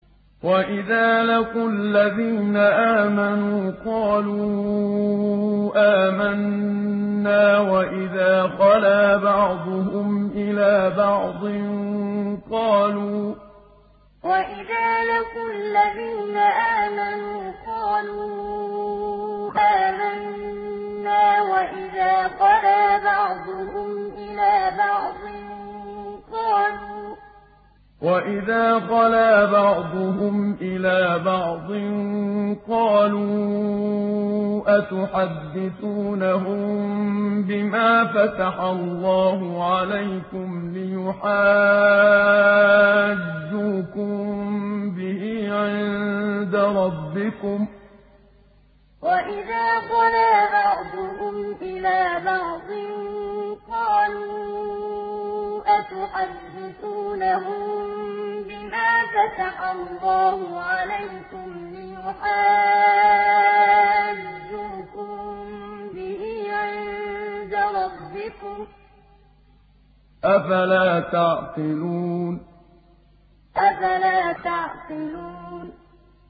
وَإِذَا لَقُوا الَّذِينَ آمَنُوا قَالُوا آمَنَّا وَإِذَا خَلَا بَعْضُهُمْ إِلَىٰ بَعْضٍ قَالُوا أَتُحَدِّثُونَهُم بِمَا فَتَحَ اللَّهُ عَلَيْكُمْ لِيُحَاجُّوكُم بِهِ عِندَ رَبِّكُمْ ۚ أَفَلَا تَعْقِلُونَ وَإِذَا لَقُوا الَّذِينَ آمَنُوا قَالُوا آمَنَّا وَإِذَا خَلَا بَعْضُهُمْ إِلَىٰ بَعْضٍ قَالُوا أَتُحَدِّثُونَهُم بِمَا فَتَحَ اللَّهُ عَلَيْكُمْ لِيُحَاجُّوكُم بِهِ عِندَ رَبِّكُمْ ۚ أَفَلَا تَعْقِلُونَ